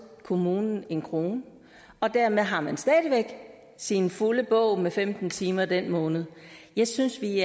kommunen en krone og dermed har man stadig væk sin fulde bog med femten timer i den måned jeg synes vi